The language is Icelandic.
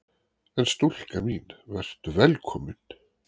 En stúlka mín: Vertu velkomin!